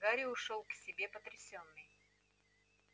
гарри ушёл к себе потрясённый